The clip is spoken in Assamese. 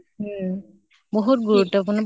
উম বহুত গুৰুত্ব্পূৰ্ণ